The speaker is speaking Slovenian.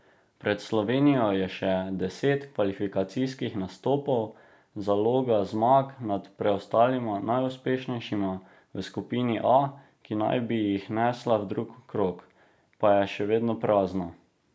Pred Slovenijo je še deset kvalifikacijskih nastopov, zaloga zmag nad preostalima najuspešnejšima v skupini A, ki naj bi jih nesla v drugi krog, pa je še vedno prazna.